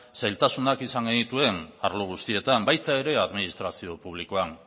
zailtasunak izan genituen arlo guztietan baita ere administrazio publikoan